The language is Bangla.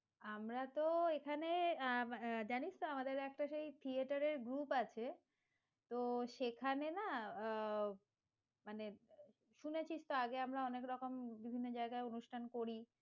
আমরা তো এখানে, জানিস তো আমাদের একটা সেই theatre এর group আছে, তো সেখানে না আহ মানে শুনেছি আগে আমরা অনেক রকম বিভিন্ন জায়গায় অনুষ্ঠান করি,